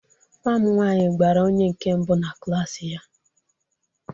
Nwa m nwanyị gbara onye nke mbụ na klaasi ya.